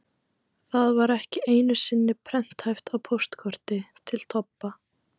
Það var ekki einu sinni prenthæft á póstkorti til Tobba.